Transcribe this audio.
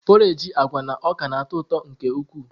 Porrage agwa na ọka na-atọ ụtọ nke ukwuu.